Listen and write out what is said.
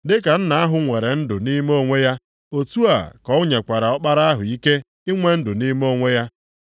Dị ka Nna ahụ nwere ndụ nʼime onwe ya, otu a ka o nyekwara Ọkpara ahụ ike inwe ndụ nʼime onwe ya.